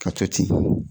Ka to ten